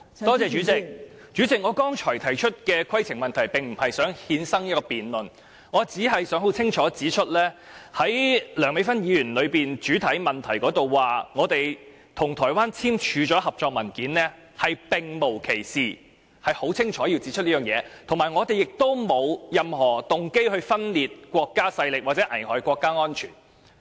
代理主席，我剛才提出的規程問題，並不是想衍生一項辯論，我只想清楚指出，在梁美芬議員的主體質詢中，提到我們與台灣簽署了合作文件，是並無其事的，我是想清楚指出這一點，以及我們亦沒有任何動機分裂國家或危害國家安全。